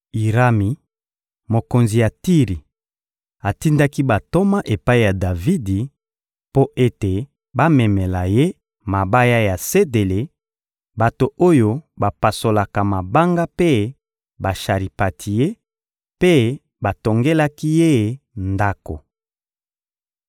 Irami, mokonzi ya Tiri, atindaki bantoma epai ya Davidi mpo ete bamemela ye mabaya ya sedele, bato oyo bapasolaka mabanga mpe basharipantie; mpe batongelaki ye ndako.